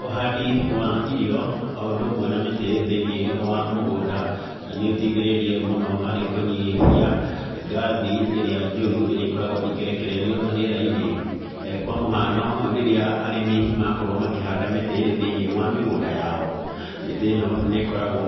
Ũhandi wa irio o ũndũ umwe na mĩtĩ thĩinĩ wa mũgũnda nĩ ũteithĩrĩirie mũno harĩ kũnyihia ngathi iria njũrũ iria ikoragwo ikirekererio rĩera-inĩ. Kwa mũhano rĩrĩa arĩmi makorwo makĩhanda mĩtĩ thĩinĩ wa mĩgũnda yao, mĩtĩ ĩno nĩ ĩkoragwo